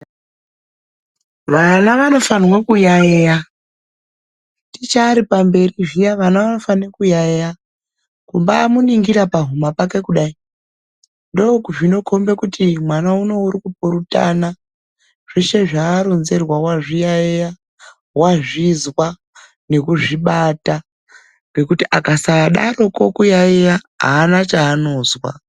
Vana vanofana kuyayeya ticha achinge ari pamberi pavo. Kumbaaningira pahuma pake kudai. Ndoozvinokhombe kuti mwana umbaari kupurutana zveshe zvaaronzerwa ,wazviyayeya wazvizwa nekuzvibata .Ngekuti akasadaro kuyayeya haana chanozwa.